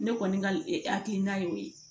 Ne kɔni ka hakilina ye o ye